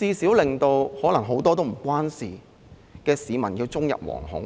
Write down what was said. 令可能很多不太相關的市民終日惶恐？